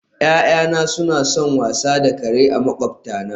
Ya'yana suna son wasa da kare makwabtana